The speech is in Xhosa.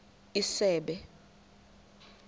isebe